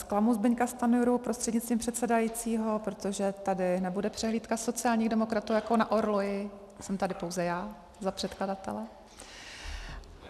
Zklamu Zbyňka Stanjuru prostřednictvím předsedajícího, protože tady nebude přehlídka sociálních demokratů jako na orloji, jsem tady pouze já za předkladatele.